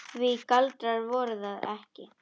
Því galdrar voru það ekki.